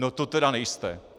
No to tedy nejste.